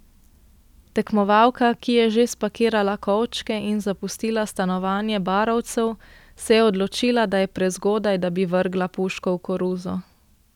Tekmovalka, ki je že spakirala kovčke in zapustila stanovanje barovcev, se je odločila, da je prezgodaj, da bi vrgla puško v koruzo.